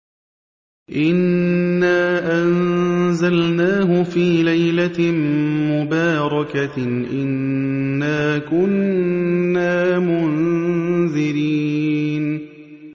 إِنَّا أَنزَلْنَاهُ فِي لَيْلَةٍ مُّبَارَكَةٍ ۚ إِنَّا كُنَّا مُنذِرِينَ